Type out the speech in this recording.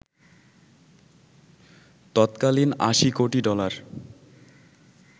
তত্কালীন ৮০ কোটি ডলার